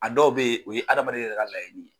A dɔw bɛ ye o ye adamaden yɛrɛ ka layini ye.